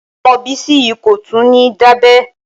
Ọmọ Bísí yìí kò tún ní dábẹ́.